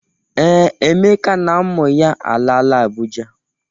Ee, Emeka na ụmụ ya alaala Abụja.